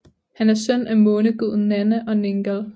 Han er søn af måneguden Nanna og Ningal